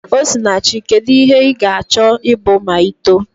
Osinachi, kedu ihe ị ga-achọ ịbụ ma i too?